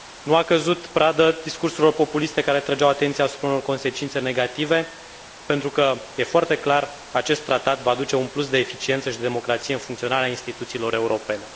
Nu a căzut pradă discursurilor populiste care atrăgeau atenția asupra unor consecințe negative pentru că, e foarte clar, acest tratat va aduce un plus de eficiență și democrație în funcționarea instituțiilor europene.